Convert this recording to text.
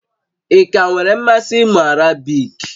Ị ka nwere mmasị ịmụ Arabiki?